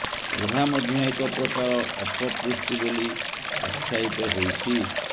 ଏହା ମଧ୍ୟ ଏକ ପ୍ରକାର ଅପପୁଷ୍ଟି ବୋଲି ଆଖ୍ୟାୟିତ ହୋଇଛି